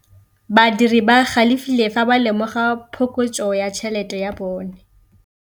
Badiri ba galefile fa ba lemoga phokotsô ya tšhelête ya bone.